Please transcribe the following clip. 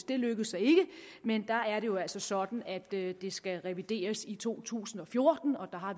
det lykkedes så ikke men der er det jo altså sådan at det skal revideres i to tusind og fjorten og der har